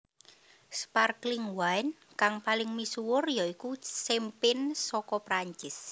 Sparkling Wine kang paling misuwur ya iku Champagne saka Prancis